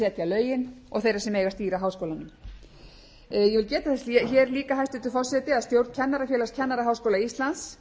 lögin og þeirra sem eiga að stýra háskólanum ég vil geta þess hér líka hæstvirtur forseti að stjórn kennarafélags kennaraháskóla íslands